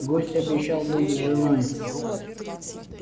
гость обещал быть с женой